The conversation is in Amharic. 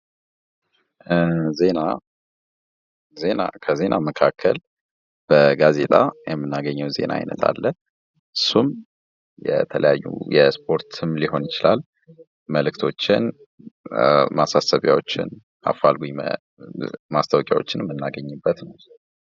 ዜና:- ዜና ከዜና መካከል በጋዜጣ የምናገኘዉ ዜና አይነት አለ። እሱም የተለያዩ የስፖርትም ሊሆን ይችላል መልዕክቶችን፣ ማሳሰቢያዎችን፣ አፋልጉኝ ማስታወቂያዎችን የምናገኝበት ነዉ።